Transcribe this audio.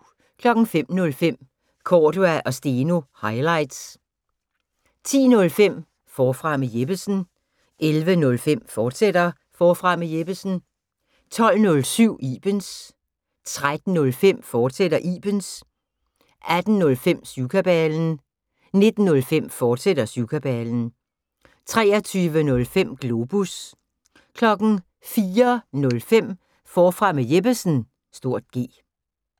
05:05: Cordua & Steno – highlights 10:05: Forfra med Jeppesen 11:05: Forfra med Jeppesen, fortsat 12:07: Ibens 13:05: Ibens, fortsat 18:05: Syvkabalen 19:05: Syvkabalen, fortsat 23:05: Globus 04:05: Forfra med Jeppesen (G)